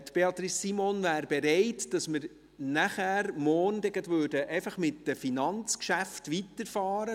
Beatrice Simon wäre bereit, morgen gleich mit den Finanzgeschäften weiterzufahren.